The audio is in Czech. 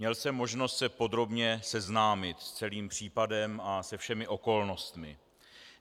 Měl jsem možnost se podrobně seznámit s celým případem a se všemi okolnostmi.